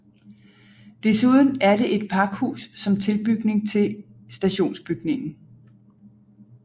Desuden er det et pakhus som tilbygning til stationsbygningen